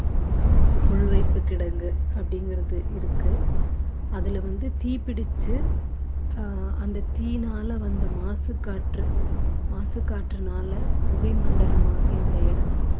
உள்வைப்பு கிடங்கு அப்படிங்கிறது இருக்கு அதுல வந்து தீ பிடிச்சு ஆஹ் அந்த தீயினால வந்த மாசுக் காற்று மாசுக் காற்றுனால புகை மண்டலமாகிய அந்த இடம்